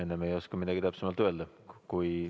Enne ei oska midagi täpsemalt öelda.